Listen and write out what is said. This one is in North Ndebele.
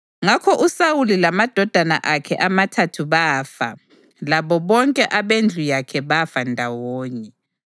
Ngakho uSawuli lamadodana akhe amathathu bafa, labo bonke abendlu yakhe bafa ndawonye.